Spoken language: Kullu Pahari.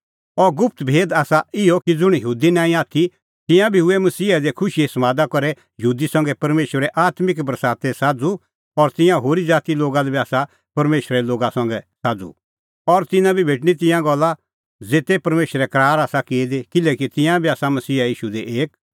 अह गुप्त भेद आसा इहअ कि ज़ुंण यहूदी नांईं आथी तिंयां बी हुऐ मसीहा दी खुशीए समादा करै यहूदी संघै परमेशरे आत्मिक बरासते साझ़ू और तिंयां होरी ज़ातीए लोग बी आसा परमेशरे लोगा संघै साझ़ू और तिन्नां बी भेटणीं तिंयां गल्ला ज़ेते परमेशरै करार आसा की दी किल्हैकि तिंयां बी आसा मसीहा ईशू दी एक